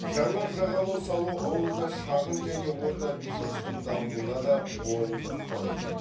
жаңа жағалау салу ауылда шағын және орта бизнестің дамуына да оң ықпал етеді